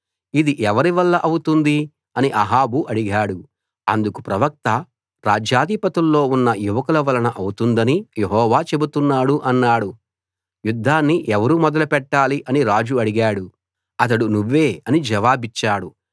ఇది ఎవరివల్ల అవుతుంది అని అహాబు అడిగాడు అందుకు ప్రవక్త రాజ్యాధిపతుల్లో ఉన్న యువకుల వలన అవుతుందని యెహోవా చెబుతున్నాడు అన్నాడు యుద్ధాన్ని ఎవరు మొదలెట్టాలి అని రాజు అడిగాడు అతడు నువ్వే అని జవాబిచ్చాడు